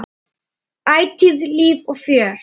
Ætíð líf og fjör.